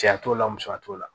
Cɛya t'o la musoya t'o la